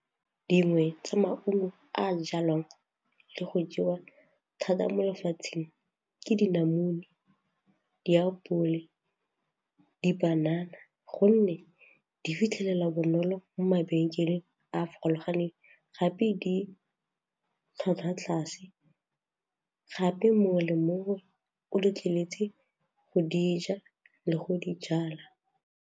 Dingwe tsa maungo a a jalwang le go jewa thata mo lefatsheng ke dinamune, diapole, dipanana gonne di fitlhelelwa bonolo mo mabenkeleng a a farologaneng gape di tlhwatlhwa tlase gape mongwe le mongwe o letleletswe go di ja le go di jala.